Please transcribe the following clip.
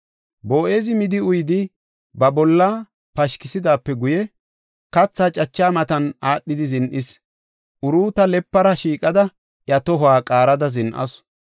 Boo7ezi midi uyidi ba bolla pashkisidaape guye, katha cacha matan aadhidi zin7is. Uruuta lepara shiiqada, iya tohuwa qaarada zin7asu.